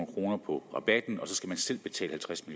kroner på rabatten og så skal man selv betale halvtreds